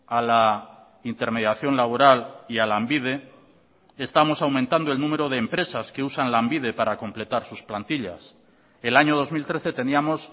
a la intermediación laboral y a lanbide estamos aumentando el número de empresas que usan lanbide para completar sus plantillas el año dos mil trece teníamos